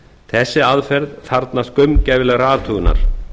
þessi aðferð þarfnast gaumgæfilegrar athugunar